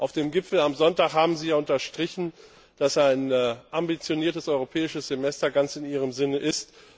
Auf dem Gipfel am Sonntag haben sie unterstrichen, dass ein ambitioniertes europäisches Semester ganz in ihrem Sinne ist.